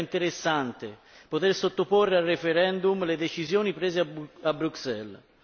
Sarebbe interessante poter sottoporre al referendum le decisioni prese a Bruxelles